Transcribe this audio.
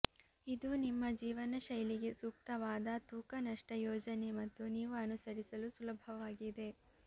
ಇದು ನಿಮ್ಮ ಜೀವನಶೈಲಿಗೆ ಸೂಕ್ತವಾದ ತೂಕ ನಷ್ಟ ಯೋಜನೆ ಮತ್ತು ನೀವು ಅನುಸರಿಸಲು ಸುಲಭವಾಗಿದೆ